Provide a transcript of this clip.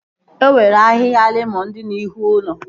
E nwere ahịhịa lemọn dị n'ihu ụlọ